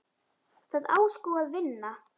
Það á sko að vinna.